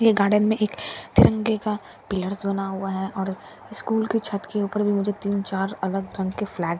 यह गार्डन में एक तिरंगे का पिलर्स बना है और स्कूल के छत के ऊपर भी मुझे तीन चार अलग ढंग के फ्लैगस --